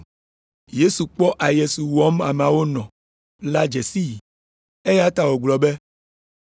Yesu kpɔ aye si wɔm ameawo nɔ la dze sii, eya ta wògblɔ be,